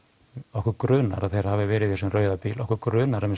okkur grunar að þeir hafi verið í þessum rauða bíl okkur grunar að